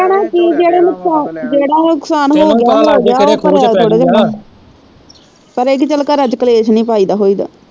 ਕਹਿਣਾ ਕੀ ਜਿਹੜਾ ਨੁਕਸਾਨ ਜਿਹੜਾ ਨੁਕਸਾਨ ਹੋਗਿਆ ਹੋਗਿਆ ਉਹ ਭਰਿਆ ਥੋੜੀ ਜਾਣਾ ਪਰ ਇਹ ਕੀ ਘਰ ਚ ਕਲੇਸ਼ ਨਹੀਂ ਪਾਈਦਾ ਹੋਈ ਦਾ।